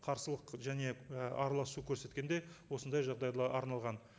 қарсылық және і араласу көрсеткенде осындай жағдайға арналған